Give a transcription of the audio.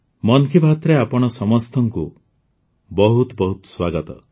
ମନ୍ କି ବାତ୍ରେ ଆପଣ ସମସ୍ତଙ୍କୁ ବହୁତ ବହୁତ ସ୍ୱାଗତ